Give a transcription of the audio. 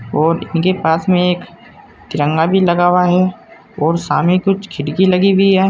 और इनके पास में एक तिरंगा भी लगा हुआ है और सामने कुछ खिड़की लगी हुई है।